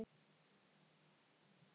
fyrir hvíld og svefn